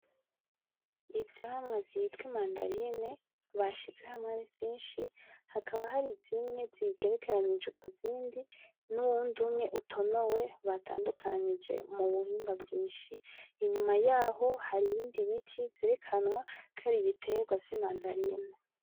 Ivyamwa vyitwa Imandarine bashize hamwe arivyinshi hakaba hari zimwe zagerekeranije kuzindi nuwundi umwe utonowe batandukanije mubuhimba bwinshi. Inyuma yaho hari ibindi biti vyerekenwa ko ari Ibiterwa vy'Imandarine.